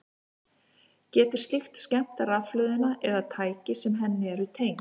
Getur slíkt skemmt rafhlöðuna eða tæki sem henni eru tengd?